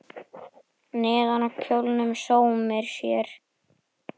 Neðan á kjólnum sómir sér.